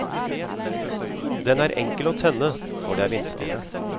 Den er enkel å tenne når det er vindstille.